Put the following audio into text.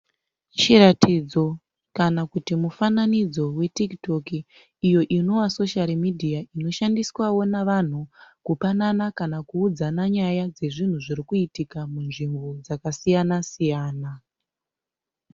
Chiratidzo kana kuti mufananidzo weTiktok iyo inova soshari midhiya iyo inoshandiswawo navanhu kupanana kana kuudzana nyaya dzezvinhu zviri kuitika munzvimbo dzakasiyana siyana.